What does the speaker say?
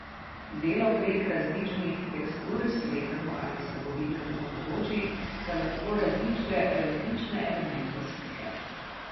Delo prek različnih tekstur slepemu ali slabovidnemu omogoči, da lahko razišče različne elemente slike.